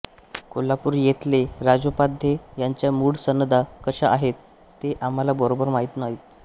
कोल्हापुर येथले राजोपाध्ये यांच्या मूळ सनदा कशा आहेत ते आम्हाला बरोबर माहित नाही